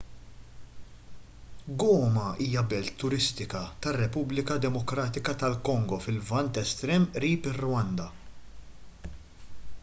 goma hija belt turistika tar-repubblika demokratika tal-kongo fil-lvant estrem qrib ir-rwanda